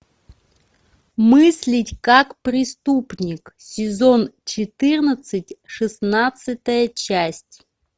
мыслить как преступник сезон четырнадцать шестнадцатая часть